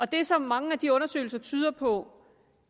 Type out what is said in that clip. det som mange af de undersøgelser tyder på